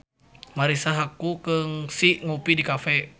Marisa Haque kungsi ngopi di cafe